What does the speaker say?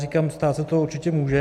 Říkám, stát se to určitě může.